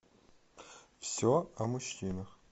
все о мужчинах